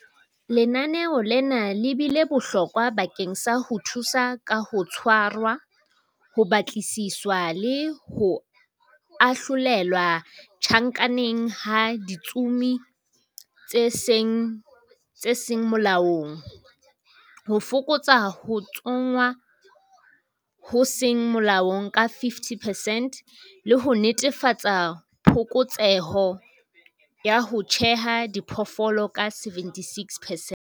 Lenaneo lena le bile bohlokwa bakeng sa ho thusa ka ho tshwarwa, ho batlisiswa le ho ahlolelwa tjhankaneng ha ditsomi tse seng molaong, ho fokotsa ho tsongwa ho seng molaong ka 50 percent, le ho netefatsa phokotseho ya ho tjheha diphoofolo ka 76 percent.